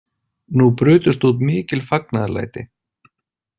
Nú brutust út mikil fagnaðarlæti.